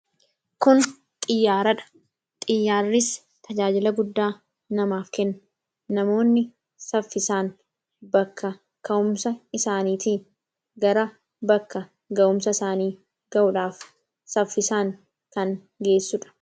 kun xiyyaaradha. xiyyaarris tajaajila guddaa namaaf kenn namoonni saffisaan bakka ka'umsa isaaniitii gara bakka ga'umsa isaanii ga'uudhaaf saffisaan kan geessuudha